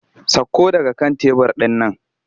Sakko daga kan tebur ɗin nan!